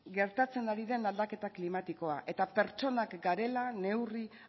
gertatzen ari den aldaketa klimatikoa eta pertsonak garela neurri